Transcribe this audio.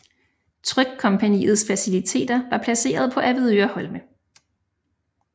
Trykkompagniets faciliteter var placeret på Avedøre Holme